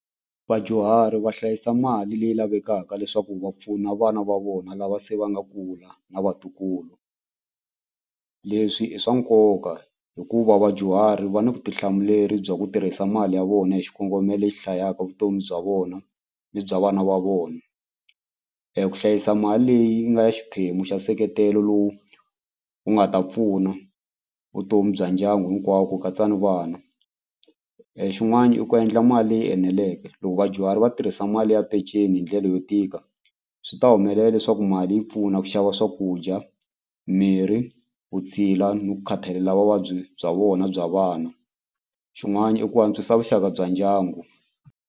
Vadyuhari va hlayisa mali leyi lavekaka leswaku va pfuna vana va vona lava se va nga kula na vatukulu leswi i swa nkoka hikuva vadyuhari va ni vutihlamuleri bya ku tirhisa mali ya vona hi xikongomelo lexi hlayaka vutomi bya vona ni bya vana va vona ku hlayisa mali leyi nga ya xiphemu xa nseketelo lowu wu nga ta pfuna vutomi bya ndyangu hinkwawo ku katsa ni vana xin'wani i ku endla mali leyi eneleke loko vadyuhari vatsari va tirhisa mali ya peceni hindlela yo tika swi ta humelela leswaku mali yi pfuna ku xava swakudya mirhi vutshila ni ku khathalela vuvabyi bya vona bya vana xin'wani i ku antswisa vuxaka bya ndyangu.